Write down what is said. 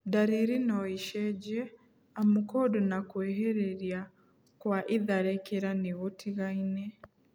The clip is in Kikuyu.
Ndariri noicenjie amu kũndũ na kwĩhĩrĩria kwa itharĩkĩra nĩgũtigaine